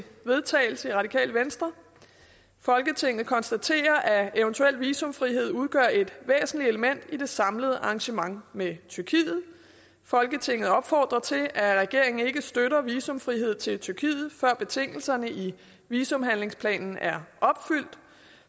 vedtagelse folketinget konstaterer at eventuel visumfrihed udgør et væsentligt element i det samlede arrangement med tyrkiet folketinget opfordrer til at regeringen ikke støtter visumfrihed til tyrkiet før betingelserne i visumhandlingsplanen er opfyldt